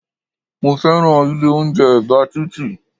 Mo fẹ́ràn ilé oúnjẹ ẹ̀bá títì